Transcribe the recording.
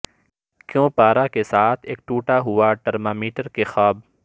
کیوں پارا کے ساتھ ایک ٹوٹا ہوا ترمامیٹر کے خواب